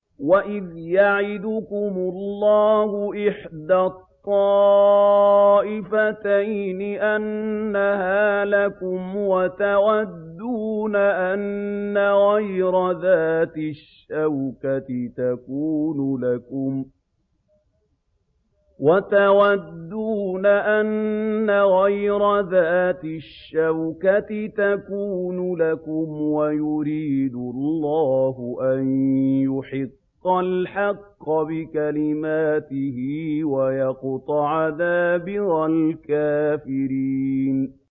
وَإِذْ يَعِدُكُمُ اللَّهُ إِحْدَى الطَّائِفَتَيْنِ أَنَّهَا لَكُمْ وَتَوَدُّونَ أَنَّ غَيْرَ ذَاتِ الشَّوْكَةِ تَكُونُ لَكُمْ وَيُرِيدُ اللَّهُ أَن يُحِقَّ الْحَقَّ بِكَلِمَاتِهِ وَيَقْطَعَ دَابِرَ الْكَافِرِينَ